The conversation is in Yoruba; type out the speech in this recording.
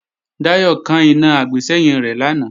Dayò kán iná àgbésẹ́yìn rẹ̀ lánàá